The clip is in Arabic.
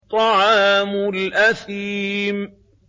طَعَامُ الْأَثِيمِ